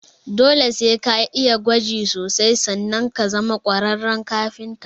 Dole sai ka'iya gwaji sosai sanan ka zama ƙwararren kafinta